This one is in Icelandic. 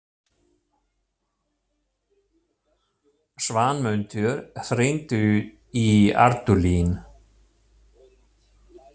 Svanmundur, hringdu í Ardúlín.